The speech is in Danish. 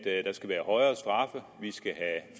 vi skal have